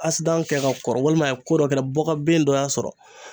kɛ ka kɔrɔ walima a ye ko dɔ kɛ bɔkabin dɔ y'a sɔrɔ.